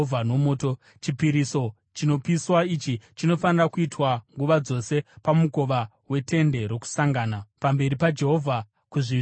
“Chipiriso chinopiswa ichi chinofanira kuitwa nguva dzose pamukova weTende Rokusangana pamberi paJehovha kuzvizvarwa zvose.